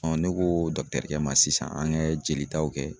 ne ko ma sisan an kɛ jolitaw kɛ